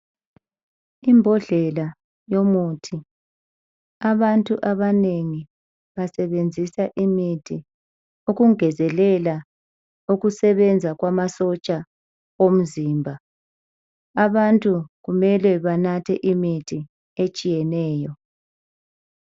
Imbodlela yomuthi, abantu abanengi basebenzisa imithi ukungezelela ukusebenza kwamasotsha womzimba, abantu kumele banathe imithi etshiyeneyo.